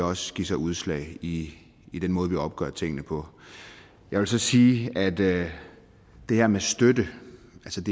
også give sig udslag i i den måde vi opgør tingene på jeg vil så sige at det her med støtte